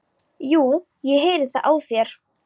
Jú, ég heyri það á þér.